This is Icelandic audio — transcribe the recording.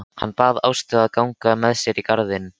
Hann bað Ástu að ganga með sér í garðinn.